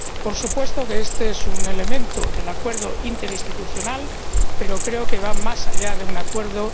Por supuesto, este es un elemento del acuerdo interinstitucional, pero creo que va más allá de un acuerdo.